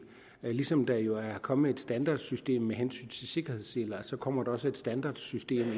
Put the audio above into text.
ligesom der jo er kommet et standardsystem med hensyn til sikkerhedsseler kommer der også et standardsystem